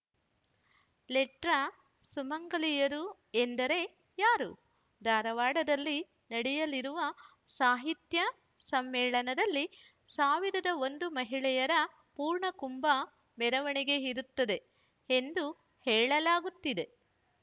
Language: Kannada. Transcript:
ಲೆಟರ್‌ ಸುಮಂಗಲಿಯರು ಎಂದರೆ ಯಾರು ಧಾರವಾಡದಲ್ಲಿ ನಡೆಯಲಿರುವ ಸಾಹಿತ್ಯ ಸಮ್ಮೇಳನದಲ್ಲಿ ಸಾವಿರದ ಒಂದು ಮಹಿಳೆಯರ ಪೂರ್ಣ ಕುಂಭ ಮೆರವಣಿಗೆ ಇರುತ್ತದೆ ಎಂದು ಹೇಳಲಾಗುತ್ತಿದೆ